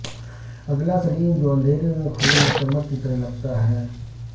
ادلی سلیم جو اندھیرے میں خون اور چمک کی طرح لگتا ہے